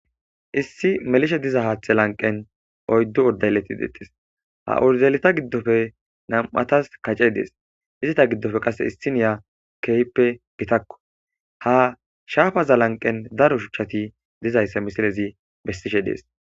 Issi melishe diza haathe lanqen oyddu urdalleti detis ha urdaleta giddofe nam'atas kacce dees izita giddofe qass issi niya kehppe gitakko ha shaafaza lanqen daro shuchchati dizaysse misilezi bessishe dees.